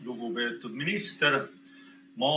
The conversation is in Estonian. Lugupeetud minister!